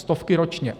Stovky ročně.